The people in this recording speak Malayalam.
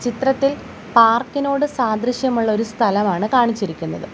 ചിത്രത്തിൽ പാർക്കിനോട്‌ സാദൃശ്യമുള്ള ഒരു സ്ഥലവാണ് കാണിച്ചിരിക്കുന്നത്.